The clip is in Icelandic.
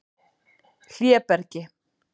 Hlébergi